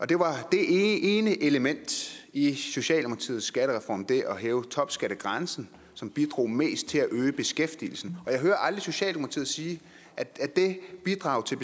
det var det ene element i socialdemokratiets skattereform nemlig det at hæve topskattegrænsen som bidrog mest til at øge beskæftigelsen og jeg aldrig socialdemokratiet sige at det bidrag til